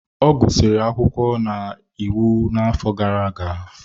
Ọ gụsịrị akwụkwọ na iwu n'afọ gara aga.